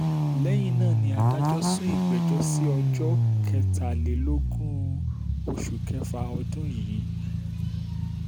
lẹ́yìn náà ni adájọ́ sún ìgbẹ́jọ́ sí ọjọ́ kẹtàlélógún um oṣù kẹfà ọdún yìí um